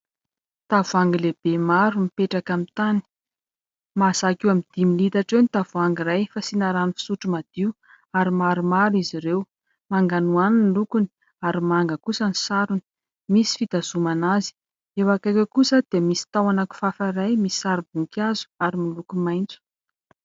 Tavoahangy lehibe maro mipetraka amin'ny tany ; mahazaka eo amin'ny dimy litatra eo ny tavoangy iray, fasiana rano fisotro madio ary maromaro izy ireo ; manganoano ny lokony ary manga kosa ny sarony ; misy fitazomana azy. Eo akaiky eo kosa dia misy tahona kifafa iray misy sarim-boninkazo ary miloko maitso.